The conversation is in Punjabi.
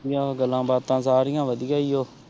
ਯਾਰ ਗੱਲਾਂ ਬਤਾ ਸਰਿਯਾ ਵਾਦਿਯ ਵੀ ਆਹ